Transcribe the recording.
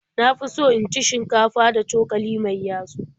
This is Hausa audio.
Na fi so in ci shinkafa da cokali mai yatsu.